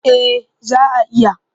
Eh za a iya.